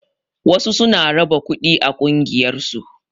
Wasu suna raba kuɗi a ƙungiyar su